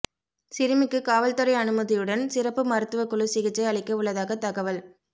சிறுமிக்கு காவல்துறை அனுமதியுடன் சிறப்பு மருத்துவக்குழு சிகிச்சை அளிக்க உள்ளதாக தகவல்